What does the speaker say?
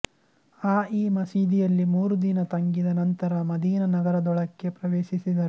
ಅ ಈ ಮಸೀದಿಯಲ್ಲಿ ಮೂರು ದಿನ ತಂಗಿದ ನಂತರ ಮದೀನಾ ನಗರದೊಳಕ್ಕೆ ಪ್ರವೇಶಿಸಿದರು